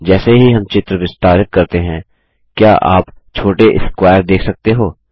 जैसे ही हम चित्र विस्तारित करते हैं क्या आप छोटे स्क्वायर देख सकते हो